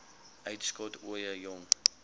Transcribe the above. uitskot ooie jong